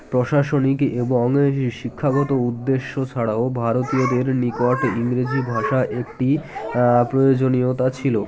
প্রশাসনিক এবং শিক্ষাগত উদ্দেশ্য ছাড়াও ভারতীয়দের নিকট ইংরেজি ভাষা একটি আ প্রয়োজনীয়তা ছিল